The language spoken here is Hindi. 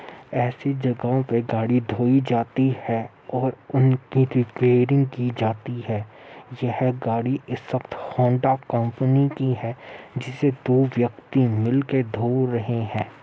ऐसी जगह पे गाड़ी धोई जाती है और उनके रिपेयरिंग की जाती है। यह गाड़ी इस वक़्त होंडा कंपनी की है जिसे दो व्यक्ति मिलकर धो रहे हैं।